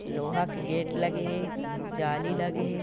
लोहा के गेट लगे हे जालि लगे हे।